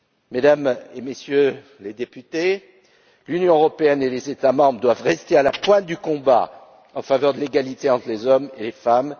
Mesdames et Messieurs les députés, l'Union européenne et les États membres doivent rester à la pointe du combat en faveur de l'égalité entre les hommes et les femmes.